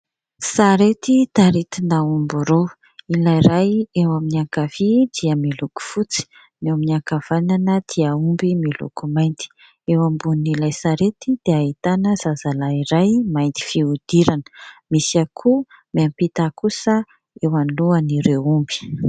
Sarety taritina omby roa, ilay iray eo amin'ny ankavia dia miloko fotsy, ny eo amin'ny ankavanana dia omby miloko mainty. Eo ambonin'ilay sarety dia ahitana zazalahy iray mainty fihodirana. Misy akoho miampita kosa eo alohan'ireo omby.